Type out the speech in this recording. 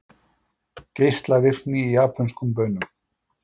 Geislavirkni í japönskum baunum